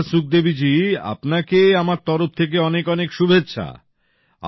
আচ্ছা সুখদেবী জি আপনাকে আমার তরফ থেকে অনেক অনেক শুভেচ্ছা